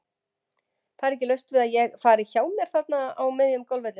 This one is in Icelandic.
Það er ekki laust við að ég fari hjá mér þarna á miðjum golfvellinum.